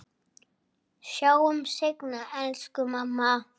Sjáumst seinna, elsku mamma.